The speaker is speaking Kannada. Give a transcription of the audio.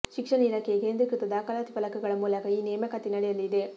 ಶಿಕ್ಷಣ ಇಲಾಖೆಯ ಕೇಂದ್ರೀಕೃತ ದಾಖಲಾತಿ ಫಲಕಗಳ ಮೂಲಕ ಈ ನೇಮಕಾತಿ ನಡೆಯಲಿದೆ